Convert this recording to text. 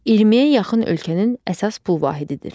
20-yə yaxın ölkənin əsas pul vahididir.